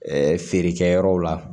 Ɛɛ feerekɛyɔrɔw la